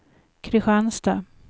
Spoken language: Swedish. Kristianstad